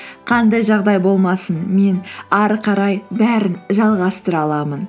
қандай жағдай болмасын мен әрі қарай бәрін жалғастыра аламын